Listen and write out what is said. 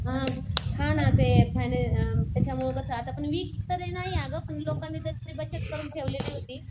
अ हां ना ते त्याच्यामुळं कसं वीक तरी नाही अगं पण लोकांनी त्यांची बचत करून ठेवलेली होती.